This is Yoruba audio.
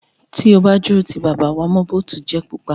Tí o bá dúró ti bàbá, wà á mọ “ bòtujẹ̀ pupa”.